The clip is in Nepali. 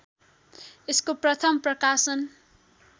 यसको प्रथम प्रकाशन